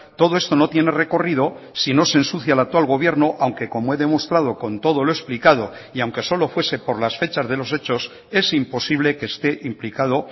todo esto no tiene recorrido si no se ensucia al actual gobierno aunque como he demostrado con todo lo explicado y aunque solo fuese por las fechas de los hechos es imposible que esté implicado